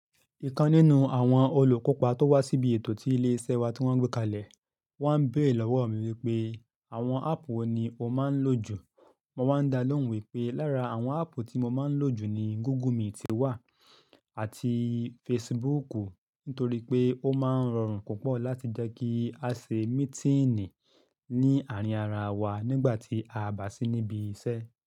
Ìkan nínú àwọn olùkópa tó wá síbi ètò tí ilé iṣẹ́ wa tí wọ́n gbé kalẹ̀, wá ń béèrè lọ́wọ́ mi wípé àwọn áàpù wo ni o máa ń lò jù. Mo máa ń dá lóhùn wípé lára àwọn áàpù tí mo máa ń lò jù ni Google Meet ti wà àti Facebook, nítorí pé ó máa ń rọrùn púpọ̀ láti jẹ́ kí a ṣe mítínì ní àárín ara wa nígbà tí a bá sì níbi iṣẹ́